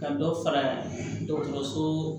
Ka dɔ fara dɔgɔtɔrɔso